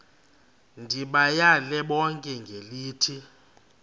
ndibayale bonke ngelithi